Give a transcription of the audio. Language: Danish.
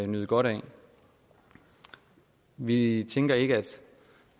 nyde godt af vi tænker ikke